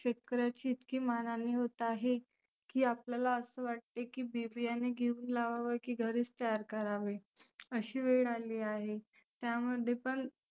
शेतकऱ्याची इतकी मानहानी होत आहे की आपल्याला असं वाटते की बी बीयाने घेऊन लावाव की घरीच तयार करावे अशी वेळ आली आहे. त्यामध्ये पण